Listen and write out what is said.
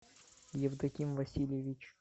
евдоким васильевич